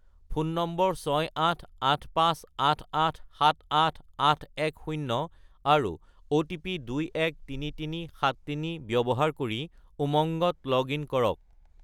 Phone নম্বৰ 68858878810 আৰু OTP 213373 ব্যৱহাৰ কৰি উমংগত লগ-ইন কৰক।